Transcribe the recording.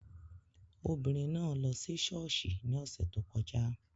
Obìnrin náà lọ sí ṣọ́ọ̀ṣì ní ọ̀sẹ̀ tó kọjá